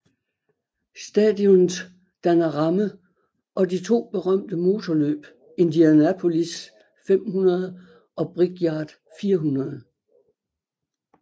Stadionet danner ramme og de to berømte motorløb Indianapolis 500 og Brickyard 400